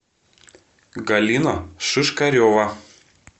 галина шишкарева